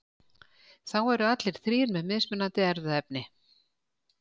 þá eru allir þrír með mismunandi erfðaefni